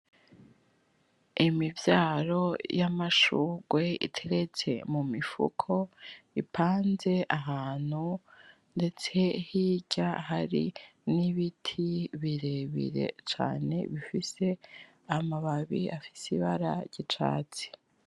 Imivyaro y’’amashurwe iteretse mu mifuko ipanze ahantu ndetse hirya hari n’ibiti birebire cane bifise amababi afise ibara ry’icatsi.